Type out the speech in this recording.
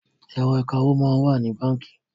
Ẹ̀rọ̀ ìkawó máa ń wà ní báńkì